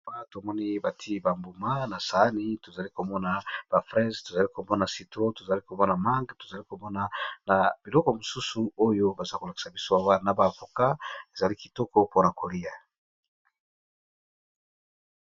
Awa tomoni bati ba mbuma na saani tozali komona ba freze, tozali komona citron, tozali komona manga, tozali komona na biloko misusu oyo baza ko lakisa biso awa na ba avocat ezali kitoko pona kolia.